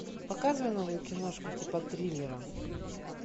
показывай новую киношку типа триллера